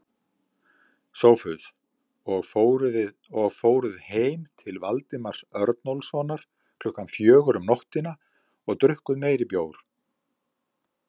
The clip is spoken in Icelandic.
SOPHUS: Og fóruð heim til Valdimars Örnólfssonar klukkan fjögur um nóttina og drukkuð meiri bjór?